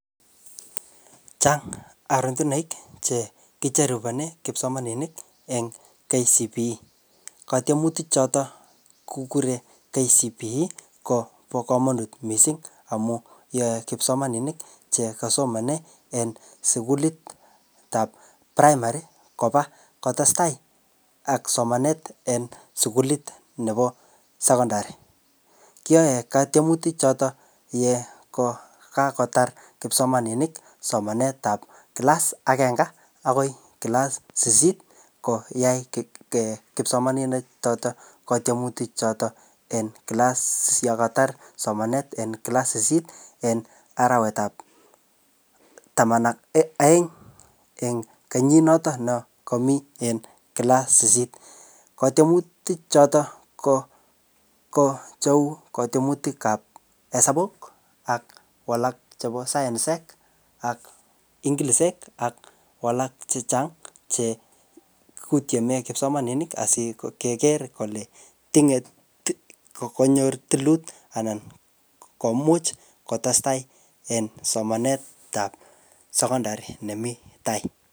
Chang arotunaik che kicheru konai kipsomanink eng KCPE. Katiemutik chotok kikure KCPE kobo komonut missing amu yae kipsomaninik che kasomane en sukulit ap primary koba kotestai ak somanet en sukulit nebo secondary. Kiyae katiemutik chotok yekokakotar kipsomaninik somanet ap class agenge akoi class sisit koyai um kipsomaninik chotok katiemutik chotok en class yakatar somanet eng class sisit en arawet ap taman ak aeng eng kenyit noton ne komii en class sisit. Katiemutik chotok ko ko cheu katiemutik ap hesabuk ak walak chebo sayansek ak inglisek ak walak chechang che kutiene kipsomaninik asikeker kole tinge kokonyor tilut anan komuch kotestai en somanet ap secondary nemii tai